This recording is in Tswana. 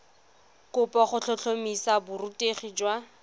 kopo go tlhotlhomisa borutegi jwa